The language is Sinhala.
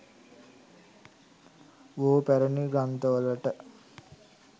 බොහෝ පැරැණි ග්‍රන්ථවලට